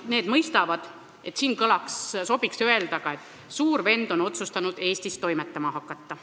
Need mõistavad, et siin sobiks öelda ka, et Suur Vend on otsustanud Eestis toimetama hakata.